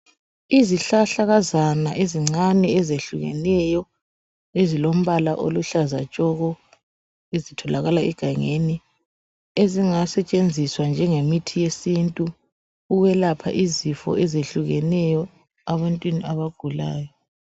Izihlahlakazana ezincane ezehlukeneyo ezilombala oluhlaza tshoko ezitholakala egangeni ezingasetshenziswa njengemithi yesintu ukwelapha izifo ezehlukeneyo ebantwini abagulayo.